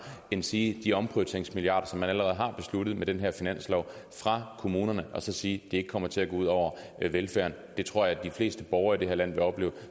endsige de omprioriteringsmilliarder som man allerede har besluttet med den her finanslov fra kommunerne og så sige at det ikke kommer til at gå ud over velfærden det tror jeg de fleste borgere i det her land vil opleve